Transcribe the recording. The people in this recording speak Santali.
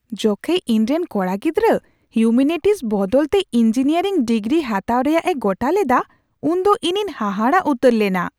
ᱡᱚᱠᱷᱮᱡ ᱤᱧᱨᱮᱱ ᱠᱚᱲᱟ ᱜᱤᱫᱽᱨᱟ ᱦᱤᱣᱢᱮᱱᱤᱴᱤᱠᱥ ᱵᱚᱫᱚᱞᱛᱮ ᱤᱧᱡᱤᱱᱤᱭᱟᱨᱤᱝ ᱰᱤᱜᱨᱤ ᱦᱟᱛᱟᱣ ᱨᱮᱭᱟᱜ ᱮ ᱜᱚᱴᱟ ᱞᱮᱫᱟ, ᱩᱱᱫᱚ ᱤᱧᱤᱧ ᱦᱟᱦᱟᱲᱟᱜ ᱩᱛᱟᱹᱨ ᱞᱮᱱᱟ ᱾